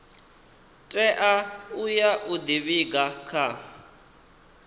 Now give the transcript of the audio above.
tea uya u ḓivhiga kha